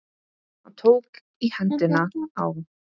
Hann tók í hendina á